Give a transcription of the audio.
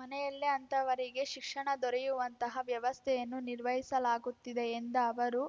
ಮನೆಯಲ್ಲೇ ಅಂಥವರಿಗೆ ಶಿಕ್ಷಣ ದೊರೆಯುವಂತಹ ವ್ಯವಸ್ಥೆಯನ್ನು ನಿರ್ವಹಿಸಲಾಗುತ್ತಿದೆ ಎಂದ ಅವರು